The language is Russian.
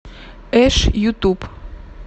эш ютуб